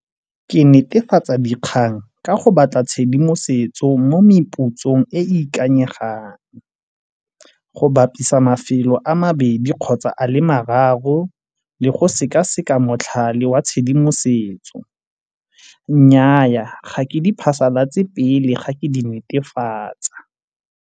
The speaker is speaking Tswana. Ke netefatsa dikgang ka go batla tshedimosetso mo meputsong e e ikanyegang go bapisa mafelo a mabedi kgotsa a le mararo le go sekaseka motlhale wa tshedimosetso. Nnyaa, ga ke di phasalatse pele ga ke di netefatsa.